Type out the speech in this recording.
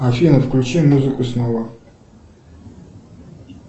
афина включи музыку снова